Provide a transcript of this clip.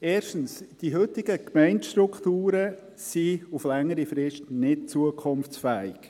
Erstens: Die heutigen Gemeindestrukturen sind auf längere Frist nicht zukunftsfähig.